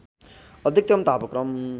अधिकतम तापक्रम